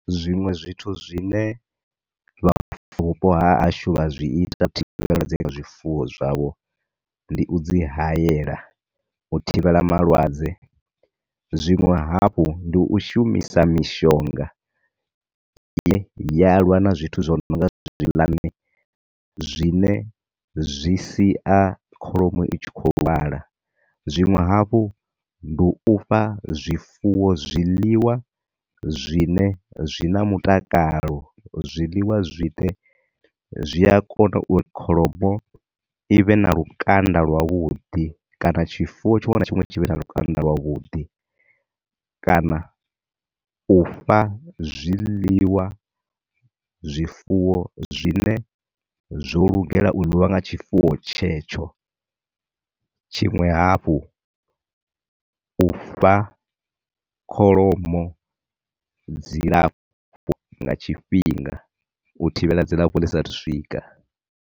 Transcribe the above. Zwiṅwe zwithu zwine vha ha hashu vha zwi ita na zwifuwo zwavho, ndi u dzi hayela u thivhela malwadze, zwiṅwe hafhu ndi u shumisa mishonga ine ya lwa na zwithu zwi nonga zwi ne zwi si a kholomo i tshi khou lwala. Zwiṅwe hafhu ndi u fha zwifuwo zwiḽiwa zwi ne zwi na mutakalo, zwiḽiwa zwine zwi a kona uri kholomo i vhe na lukanda lwa vhuḓi kana tshifuwo tshiṅwe na tshiṅwe tshi vhe na lukanda lwa vhuḓi, kana u fha zwiḽiwa zwifuwo zwi ne zwo lugela uḽiwa nga tshifuwo tshetsho. Tshiṅwe hafhu u fha kholomo dzilafho nga tshifhinga u thivhela dzi dzi sa thu swika.